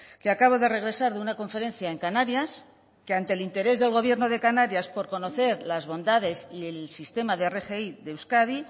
que acabo de regresar de una conferencia en canarias que ante el interés del gobierno de canarias por conocer las bondades y el sistema de rgi de euskadi